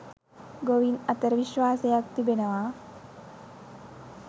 ගොවින් අතර විශ්වාසයක් තිබෙනවා.